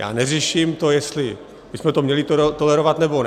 Já neřeším to, jestli bychom to měli tolerovat, nebo ne.